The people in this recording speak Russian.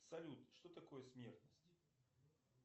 салют что такое смертность